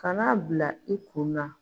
Kan'a bila i kun na.